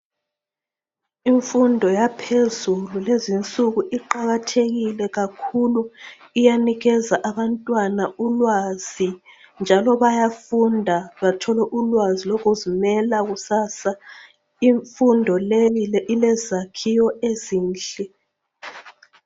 Imfundo yaphezulu kulezinsuku kakhulu iyanikeza abantwana ulwazi njalo bayafunda bathole ulwazi bayazimela kusasa imfundo le ilezakhiwo ezinhle